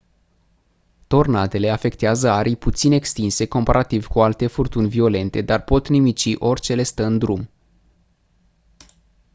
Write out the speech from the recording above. tornadele afectează arii puțin extinse comparativ cu alte furtuni violente dar pot nimici orice le stă în drum